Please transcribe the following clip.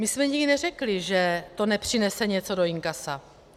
My jsme nikdy neřekli, že to nepřinese něco do inkasa.